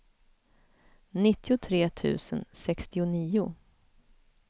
nittiotre tusen sextionio